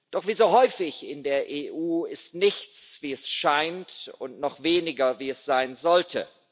Doch wie so häufig in der EU ist nichts, wie es scheint, und noch weniger, wie es sein sollte.